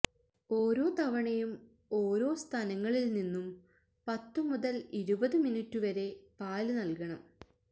ഓരോ തവണയും ഓരോ സ്തനങ്ങളില് നിന്നും പത്തു മുതല് ഇരുപത് മിനിറ്റു വരെ പാല് നല്കണം